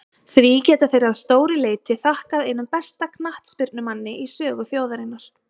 Því geta þeir að stóru leyti þakkað einum besta knattspyrnumanni í sögu þjóðarinnar.